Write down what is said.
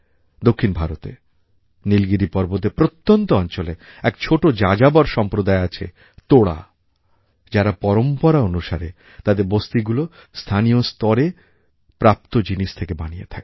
দক্ষিণ ভারতে নীলগিরি পর্বতের প্রত্যন্ত অঞ্চলে এক ছোটো যাযাবর সম্প্রদায় আছে তোড়া যারা পরম্পরা অনুসারে তাদের বস্তিগুলো স্থানীয় স্তরে প্রাপ্ত জিনিস থেকেই বানিয়ে থাকে